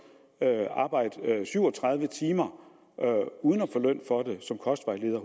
arbejde syv og tredive timer uden at få løn for det som kostvejleder